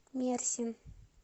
мерсин